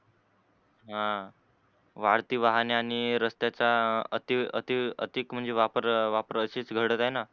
ह वाढती वाहने आणि रस्त्याचा अति अति अतिक म्हणजे वापरण असच घडत आहे न?